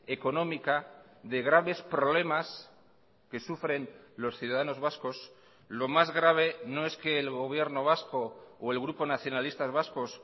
económica de graves problemas que sufren los ciudadanos vascos lo más grave no es que el gobierno vasco o el grupo nacionalistas vascos